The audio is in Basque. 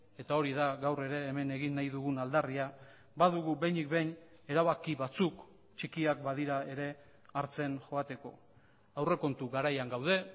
eta hori da gaur ere hemen egin nahi dugun aldarria badugu behinik behin erabaki batzuk txikiak badira ere hartzen joateko aurrekontu garaian gaude